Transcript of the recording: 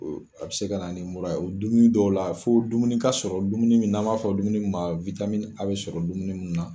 A bɛ se ka na mura ye, o dumuni dɔw la, fo dumuni ka sɔrɔ dumuni min n'an b'a fɔ dumuni ma A bi sɔrɔ dumuni mun na